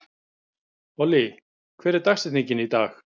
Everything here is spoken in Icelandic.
Olli, hver er dagsetningin í dag?